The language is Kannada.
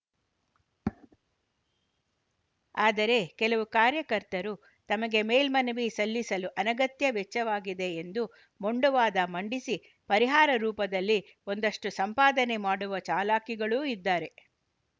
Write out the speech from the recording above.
ಆದರೆ ಕೆಲವು ಕಾರ್ಯಕರ್ತರು ತಮಗೆ ಮೇಲ್ಮನವಿ ಸಲ್ಲಿಸಲು ಅನಗತ್ಯ ವೆಚ್ಚವಾಗಿದೆ ಎಂಬ ಮೊಂಡು ವಾದ ಮಂಡಿಸಿ ಪರಿಹಾರ ರೂಪದಲ್ಲಿ ಒಂದಷ್ಟುಸಂಪಾದನೆ ಮಾಡುವ ಚಾಲಾಕಿಗಳೂ ಇದ್ದಾರೆ